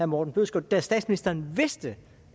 morten bødskov da statsministeren vidste